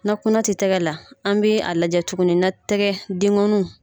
Na kunna tɛ tɛgɛ la an bɛ a lajɛ tuguni na tɛgɛ dengɔn